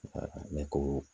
ne ko